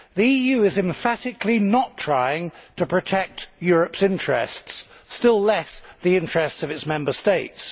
The EU is emphatically not trying to protect Europe's interests, still less the interests of its Member States.